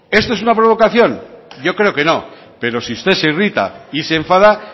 esto es una provocación yo creo que no pero si usted se irrita y se enfada